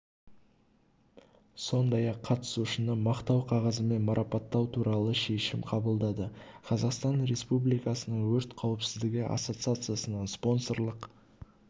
сондай ақ қатысушыны мақтау қағазымен марапаттау туралы шешім қабылдады қазақстан республикасының өрт қауіпсіздігі ассоциациясының спонсорлық